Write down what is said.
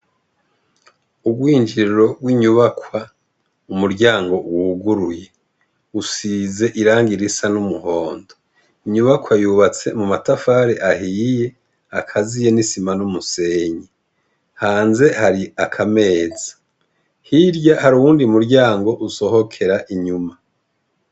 Urwinjiriro rw'inyubakwa umuryango wuguruye. Usize irangi risa n'umuhondo. Inyubakwa yubatse mu matafari ahiye, akaziye n'isima n'umusenyi. Hanze hari akameza, hirya hari uwundi muryango usohokera inyuma.